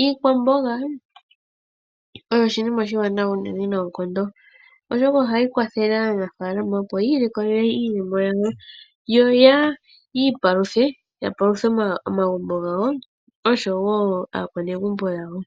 Iikwamboga oyo oshinima oshiwanawa unene noonkondo, oshoka oha yi kwathele aanafaalama opo yi ilikolele iiyemo yawo, yo yi ipaluthe momagumbo gawo osho woo aanrgumbo yawo.